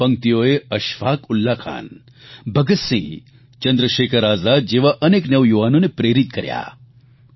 આ પંક્તિઓએ અશફાક ઉલ્લાખાન ભગતસિંહ ચંદ્રશેખર આઝાદ જેવા અનેક નવયુવાનોને પ્રેરિત કર્યા